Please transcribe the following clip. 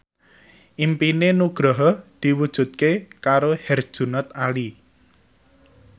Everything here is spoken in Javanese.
impine Nugroho diwujudke karo Herjunot Ali